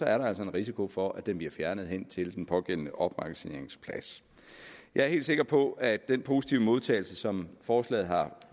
er der altså en risiko for at den bliver fjernet hen til den pågældende opmagasineringsplads jeg er helt sikker på at den positive modtagelse som forslaget har